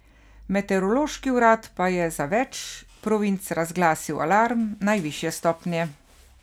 Meteorološki urad pa je za več provinc razglasil alarm najvišje stopnje.